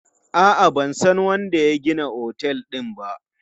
A'a, ban san wanda ya gina otel din ba.